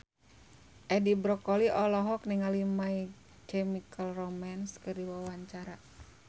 Edi Brokoli olohok ningali My Chemical Romance keur diwawancara